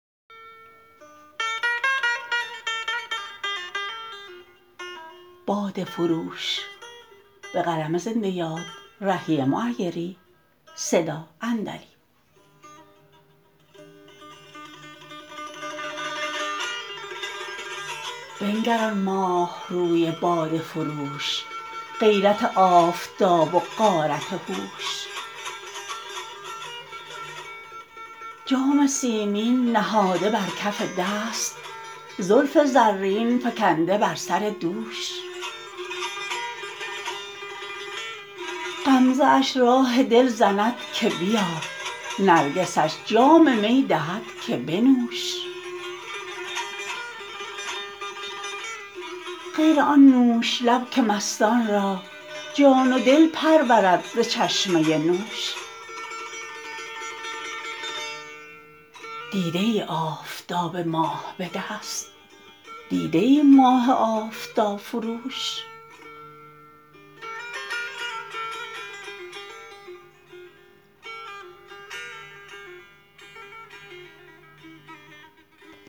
بنگر آن ماه روی باده فروش غیرت آفتاب و غارت هوش جام سیمین نهاده بر کف دست زلف زرین فکنده بر سر دوش غمزه اش راه دل زند که بیا نرگسش جام می دهد که بنوش غیر آن نوش لب که مستان را جان و دل پرورد ز چشمه نوش دیده ای آفتاب ماه به دست دیده ای ماه آفتاب فروش